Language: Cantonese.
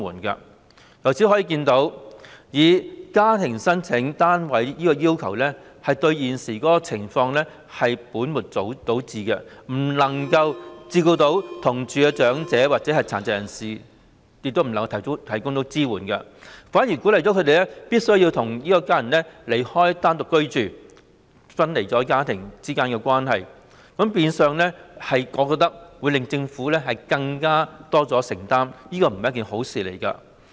由此可見，以家庭為申請單位的要求對解決現時情況是本末倒置的做法，既不能夠照顧同住的長者或殘疾人士，也無法向他們提供支援，反而鼓勵他們離開家人單獨居住，令家庭分離，亦變相令政府須作出更多承擔，可見這並非一件好事。